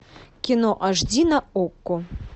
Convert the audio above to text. кино аш ди на окко